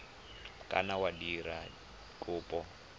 ka nna wa dira kopo